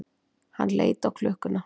Hann leit á klukkuna.